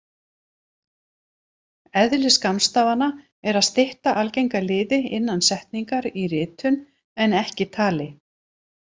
Eðli skammstafana er að stytta algenga liði innan setningar í ritun en ekki tali.